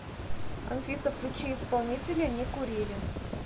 афина включи исполнителя не курили